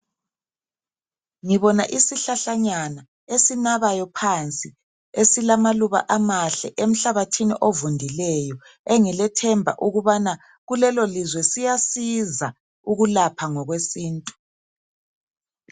Ngibona isihlahlanyana esinabayo phansi esilamaluba amahle emhlabathini ovundileyo engilethemba ukubana kulelolizwe siyasiza ukulapha ngokwesiNtu